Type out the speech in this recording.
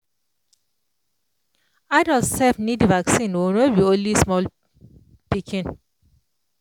adult sef need vaccine o no be only small pikin